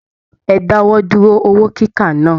E dáwọ dúró owó kíkà náà!